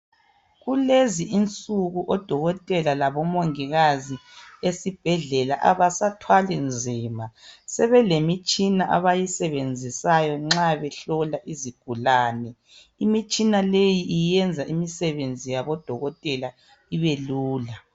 Kulezi insuku odokotela labo mongikazi esibhedlela abasathwali nzima sebelemitshina abayisebenzisayo nxa behlola izigulane. Imitshina leyi iyenza imisebenzi yabodokotela ibelula.